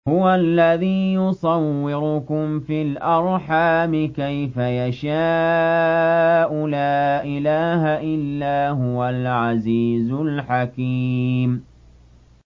هُوَ الَّذِي يُصَوِّرُكُمْ فِي الْأَرْحَامِ كَيْفَ يَشَاءُ ۚ لَا إِلَٰهَ إِلَّا هُوَ الْعَزِيزُ الْحَكِيمُ